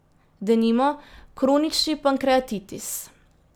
Denimo, kronični pankreatitis.